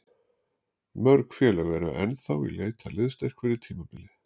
Mörg félög eru ennþá í leit að liðsstyrk fyrir tímabilið.